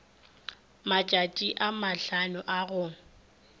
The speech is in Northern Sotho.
matšatši a mahlano a go